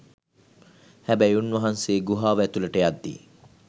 හැබැයි උන්වහන්සේ ගුහාව ඇතුලට යද්දී